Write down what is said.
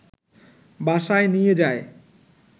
বাসায় নিয়ে যায়